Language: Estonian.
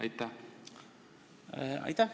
Aitäh!